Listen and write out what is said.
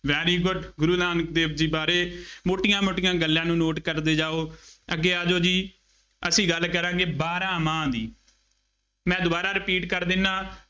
very good Guru Nanak Dev ji ਬਾਰੇ ਮੋਟੀਆਂ ਮੋਟੀਆਂ ਗੱਲਾਂ ਨੂੰ note ਕਰਦੇ ਜਾਉ, ਅੱਗੇ ਆ ਜਾਉ ਜੀ, ਅਸੀਂ ਗੱਲ ਕਰਾਂਗੇ ਬਾਰਾਂਮਾਂਹ ਦੀ, ਮੈਂ ਦੁਬਾਰਾ repeat ਕਰ ਦਿੰਦਾ,